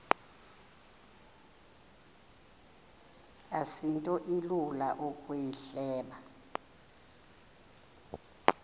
asinto ilula ukuyihleba